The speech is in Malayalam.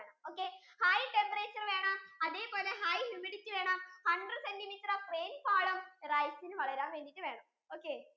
okay high temperature വേണം അതേപോലെ high humidity വേണം hundred centimeter rainfall ഉം rice ഇന് വളരാൻ വേണ്ടിയിട്ടു വേണം okay